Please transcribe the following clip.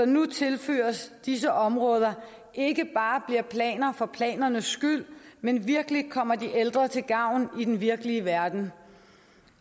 nu tilføres disse områder ikke bare bliver planer for planerne skyld men virkelig kommer de ældre til gavn i den virkelige verden